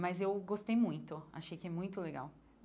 Mas eu gostei muito, achei que é muito legal.